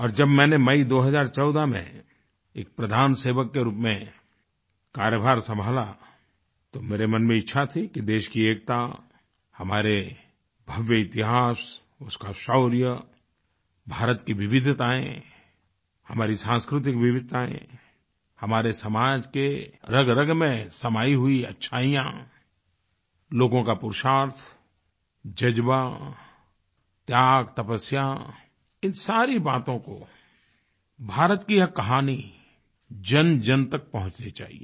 और जब मैंने मई 2014 में एक प्रधानसेवक के रूप में कार्यभार संभाला तो मेरे मन में इच्छा थी कि देश की एकता हमारे भव्य इतिहास उसका शौर्य भारत की विविधताएँ हमारी सांस्कृतिक विविधताएँ हमारे समाज के रगरग में समायी हुई अच्छाइयाँ लोगों का पुरुषार्थ जज़्बा त्याग तपस्या इन सारी बातों को भारत की यह कहानी जनजन तक पहुँचनी चाहिये